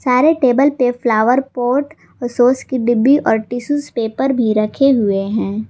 सारे टेबल पे flower pot sauce की डिब्बी और टिशू पेपर भी रखे हुए हैं।